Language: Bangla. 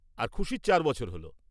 আর খুশির চার বছর হল।